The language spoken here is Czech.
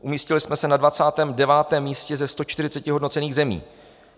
Umístili jsme se na 29. místě ze 140 hodnocených zemí.